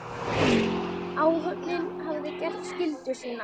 Áhöfnin hafði gert skyldu sína.